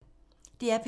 DR P3